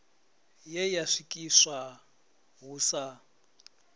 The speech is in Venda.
ye ya swikiswa hu sa